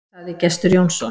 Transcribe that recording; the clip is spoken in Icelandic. Sagði Gestur Jónsson.